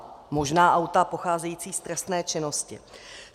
Možná auta pocházející z trestné činnosti.